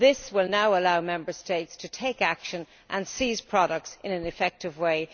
This initiative will allow Member States to take action and seize products in an effective way.